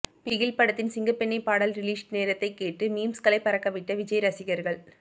பிகில் படத்தின் சிங்கப்பெண்ணே பாடல் ரிலீஸ் நேரத்தை கேட்டு மீம்ஸ்களை பறக்கவிட்ட விஜய் ரசிகர்கள்